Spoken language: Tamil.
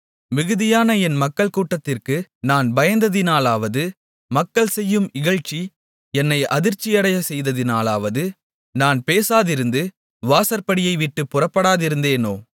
மிகுதியான என் மக்கள் கூட்டத்திற்கு நான் பயந்ததினாலாவது மக்கள் செய்யும் இகழ்ச்சி என்னை அதிர்ச்சியடையச் செய்ததினாலாவது நான் பேசாதிருந்து வாசற்படியைவிட்டுப் புறப்படாதிருந்தேனோ